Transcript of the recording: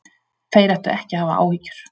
Þeir ættu ekki að hafa áhyggjur